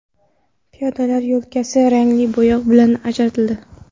Piyodalar yo‘lkasi rangli bo‘yoq bilan ajratildi.